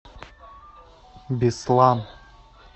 беслан